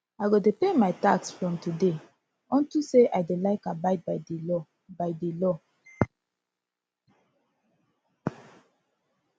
i go dey pay my tax from today unto say i dey like abide by the law by the law